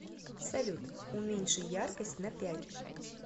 салют уменьши яркость на пять